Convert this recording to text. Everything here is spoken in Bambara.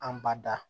Anbada